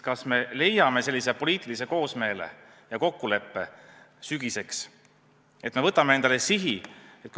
Kas me leiame poliitilise koosmeele ja saavutame sügiseks kokkuleppe, et me võtame endale siin sihi?